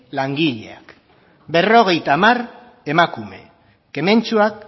langileak berrogeita hamar emakume kementsuak